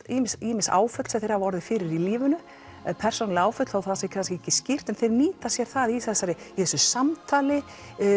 ýmis ýmis áföll sem þeir hafa orðið fyrir í lífinu persónuleg áföll þó það sé kannski ekki skýrt en þeir nýta sér það í þessu í þessu samtali